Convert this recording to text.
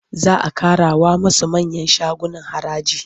Za a ƙarawa masu manyan shaguna haraji.